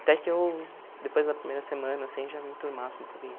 Até que eu, depois da primeira semana, assim, já me enturmasse um pouquinho.